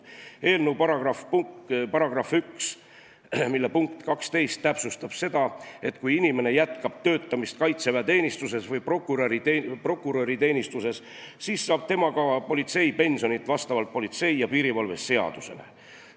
Eelnõu § 1 punkt 12 täpsustab seda, et kui inimene jätkab töötamist kaitseväeteenistuses või prokuröriteenistuses, siis saab tema ka politseipensioni vastavalt politsei ja piirivalve seadusele.